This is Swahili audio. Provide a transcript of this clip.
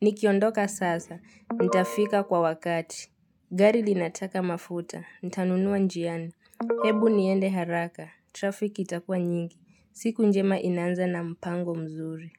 Nikiondoka sasa. Nitafika kwa wakati. Gari linataka mafuta, nitanunua njiani, hebu niende haraka, traffic itakua nyingi, siku njema inaanza na mpango mzuri.